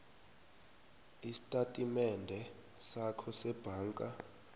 estatimendeni sakho sebhanka